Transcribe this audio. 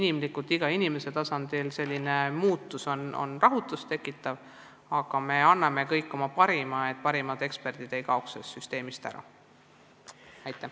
Jah, iga inimese seisukohalt on selline muutus rahutust tekitav, aga me teeme kõik, mis võimalik, et parimad eksperdid sellest süsteemist ei kaoks.